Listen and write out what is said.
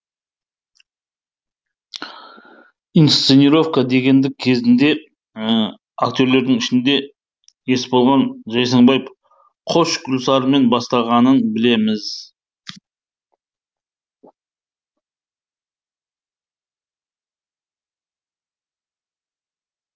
инсценировка дегенді кезінде актерлердің ішінде есболған жайсаңбаев қош гүлсарымен бастағанын білеміз